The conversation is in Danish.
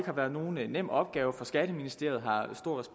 har været nogen nem opgave for skatteministeriet